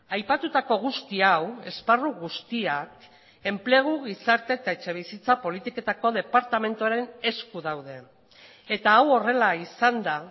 aipatutako guzti hau esparru guztiak enplegu gizarte eta etxebizitza politiketako departamentuaren esku daude eta hau horrela izanda